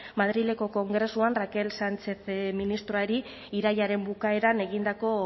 madrileko kongresuan raquel sánchez ministroari irailaren bukaeran egindako